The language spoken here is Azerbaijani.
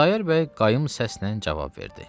Xudayar bəy qayım səslə cavab verdi.